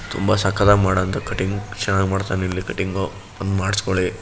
ತುಂಬಾ ಸಖತ್ತಾಗಿ ಮಾಡೋ ಅಂತ ಕಟಿಂಗ್ ಚೆನ್ನಾಗಿ ಮಾಡ್ತಾನೆ ಇಲ್ಲಿ ಕಟಿಂಗ್ ಬಂದು ಮಾಡಿಸ್ಕೊಳ್ಳಿ.